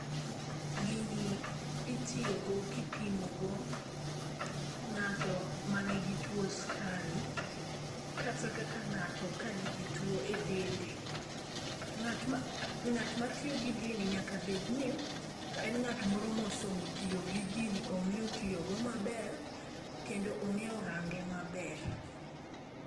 Gini itiyogo kipimogo ng'ato manigi tuwo skari kata kaka ng'ato ka nigi tuwo e dende. Ng'at matiyo gi gini nyaka bedni en ng'at moro mosomo tiyo gi gini. Ong'eyo tiyogo maber kendo ong'eyo range maber.